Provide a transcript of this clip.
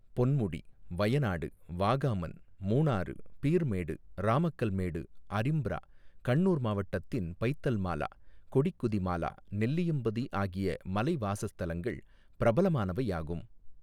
பொன்முடி, வயநாடு, வாகாமன், மூணாறு, பீர்மேடு, ராமக்கல்மேடு, அரிம்ப்ரா, கண்ணூர் மாவட்டத்தின் பைத்தல்மாலா, கொடிக்குதிமாலா, நெல்லியம்பதி ஆகிய மலைவாசஸ்தலங்கள் பிரபலமானவையாகும்.